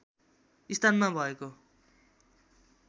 स्थानमा भएको